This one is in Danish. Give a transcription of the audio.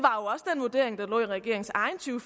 vurdering der lå i regeringens egen to